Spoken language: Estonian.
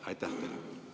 Aitäh teile!